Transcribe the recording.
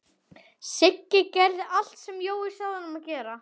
Siggi gerði allt sem Jói sagði honum að gera.